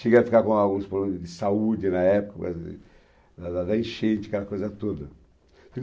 Chegamos a ficar com alguns problemas de saúde na época, da da enchente, aquela coisa toda.